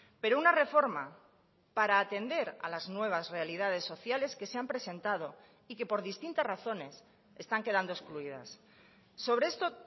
pero una reforma para atender a las nuevas realidades sociales que se han presentado y que por distintas razones están quedando excluidas sobre esto